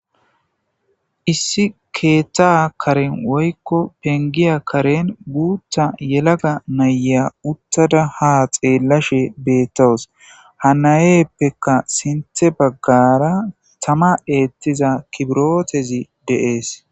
Issi keeththa karen woykko pengiya karen guutha yelaga naya uttada ha xeellashe beettawus ha nayeppekka sinthe baggara tama eettiza kibirotezi deees